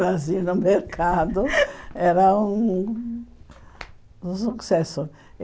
Nós ía no mercado, era um sucesso.